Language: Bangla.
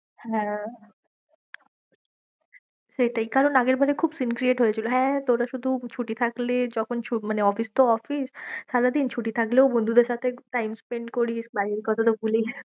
হ্যাঁ, সেইটাই কারণ আগের বারে খুব scene create হয়েছিল। হ্যাঁ তোরা শুধু ছুটি থাকলে যখন মানে অফিস তো অফিস সারাদিন। ছুটি থাকলেও বন্ধুদের সাথে time spend করিস, বাড়ির কথাটা ভুলে যাস।